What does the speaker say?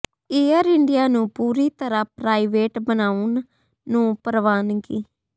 air India ਨੂੰ ਪੂਰੀ ਤਰ੍ਹਾਂ ਪ੍ਰਾਈਵੇਟ ਬਣਾਉਣ ਨੂੰ ਪ੍ਰਵਾਨਗੀ